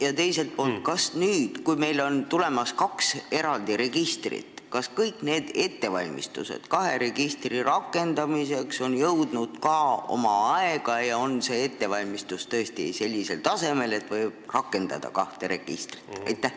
Ja teiseks, kas nüüd, kui meil on tulemas kaks eraldi registrit, on ettevalmistused kahe registri rakendamiseks graafikus ja on see ettevalmistus tõesti sellisel tasemel, et võib kasutama hakata kahte registrit?